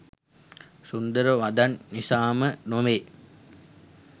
සුන්දර වදන් නිසාම නොවේ.